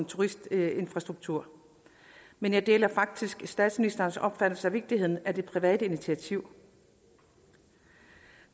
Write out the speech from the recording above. turistinfrastruktur men jeg deler faktisk statsministerens opfattelse af vigtigheden af det private initiativ